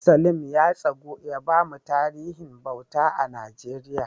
Salim ya tsagu ya bamu tarihin bauta a Najeriya.